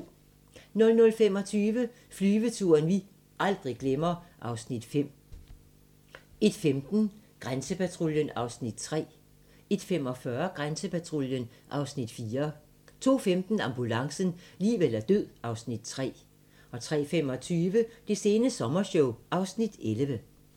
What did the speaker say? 00:25: Flyveturen vi aldrig glemmer (Afs. 5) 01:15: Grænsepatruljen (Afs. 3) 01:45: Grænsepatruljen (Afs. 4) 02:15: Ambulancen - liv eller død (Afs. 3) 03:25: Det sene sommershow (Afs. 11)